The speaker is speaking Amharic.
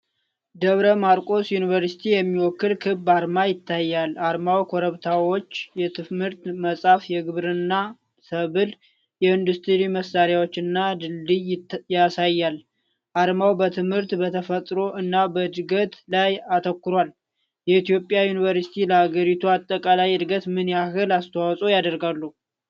ደብረ ማርቆስ ዩኒቨርሲቲን የሚወክል ክብ አርማ ይታያል። አርማው ኮረብታዎች፣ የትምህርት መጽሐፍ፣ የግብርና ሰብል፣ የኢንዱስትሪ መሣሪያዎች እና ድልድይ ያሳያል። አርማው በትምህርት፣ በተፈጥሮ እና በእድገት ላይ አተኩሯል። የኢትዮጵያ ዩኒቨርሲቲዎች ለአገሪቱ አጠቃላይ እድገት ምን ያህል አስተዋፅዖ ያደርጋሉ?